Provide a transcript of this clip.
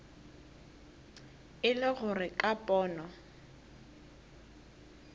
e le gore ka pono